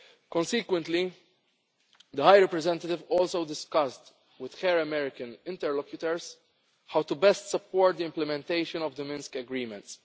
in place. Consequently, the High Representative also discussed with her American interlocutors how to best support the implementation of the Minsk Agreements.